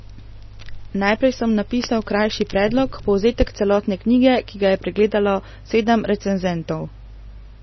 Najprej sem napisal krajši predlog, povzetek celotne knjige, ki ga je pregledalo sedem recenzentov.